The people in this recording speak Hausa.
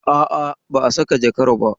A'a, ba a saka jakar ba.